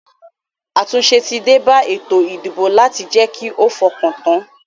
Àtúnse tí débá ètò ìdìbò láti je ki o fokan tan